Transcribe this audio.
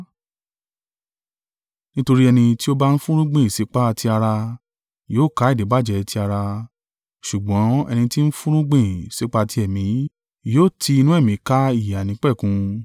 Nítorí ẹni tí ó bá ń fúnrúgbìn sípa ti ara yóò ká ìdíbàjẹ́ ti ara ṣùgbọ́n ẹni tí ń fúnrúgbìn sípa ti ẹ̀mí yóò ti inú ẹ̀mí ká ìyè àìnípẹ̀kun.